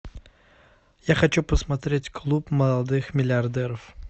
я хочу посмотреть клуб молодых миллиардеров